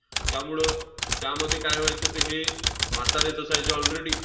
त्यामुळं त्यामध्ये काय व्हायचं? ते हे म्हातारेच असायचे already